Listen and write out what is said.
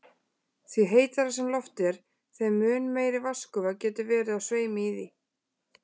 Því heitara sem loftið er, þeim mun meiri vatnsgufa getur verið á sveimi í því.